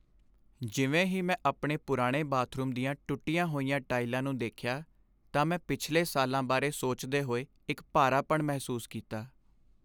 ਜਿਵੇਂ ਹੀ ਮੈਂ ਆਪਣੇ ਪੁਰਾਣੇ ਬਾਥਰੂਮ ਦੀਆਂ ਟੁੱਟੀਆਂ ਹੋਈਆਂ ਟਾਈਲਾਂ ਨੂੰ ਦੇਖਿਆ, ਤਾਂ ਮੈਂ ਪਿਛਲੇ ਸਾਲਾਂ ਬਾਰੇ ਸੋਚਦੇ ਹੋਏ ਇੱਕ ਭਾਰਾਪਣ ਮਹਿਸੂਸ ਕੀਤਾ।